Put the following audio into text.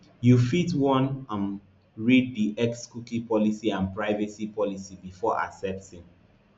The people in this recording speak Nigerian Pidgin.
you fit wan um read di xcookie policyandprivacy policybefore accepting